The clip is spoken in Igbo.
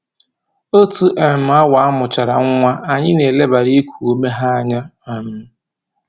Otu um awa a mụchara nwa, anyị na-elebara iku ume ha anya um